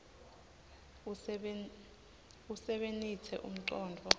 usebenitse umcondvo